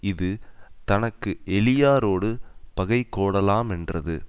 இது தனக்கு எளியாரோடு பகை கோடலாமென்றது